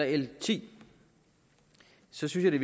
l ti synes jeg det